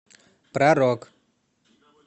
про рок